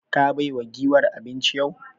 Ka baiwa giwar abinci yau?